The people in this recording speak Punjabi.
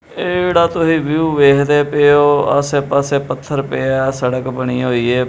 ਇਹ ਜਿਹੜਾ ਤੁਹੀ ਵਿਊ ਵੇਖਦੇ ਪਏ ਔ ਆਸੇ ਪਾਸੇ ਪਥੱਰ ਪਏ ਆ ਸੜਕ ਬਣੀ ਹੋਈ ਏ।